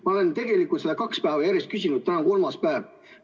Ma olen tegelikult seda kaks päeva järjest küsinud, täna on kolmas päev.